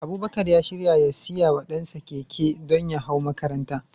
Abubakar ya shirya ya siya wa dansa keke, don ya hau makaranta.